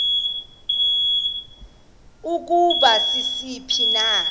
ukuba sisiphi na